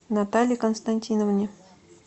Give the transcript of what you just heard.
наталье константиновне